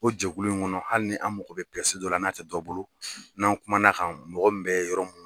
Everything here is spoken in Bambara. O jɛkulu in kɔnɔ hali ni an mago bɛ dɔ la n'a tɛ dɔ bolo n'an kuma n'a kan mɔgɔ min bɛ yɔrɔ min